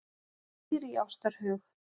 Dýr í árásarhug